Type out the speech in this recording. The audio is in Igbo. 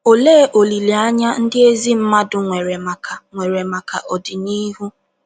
Olee olileanya ndị ezi mmadụ nwere maka nwere maka ọdịnihu?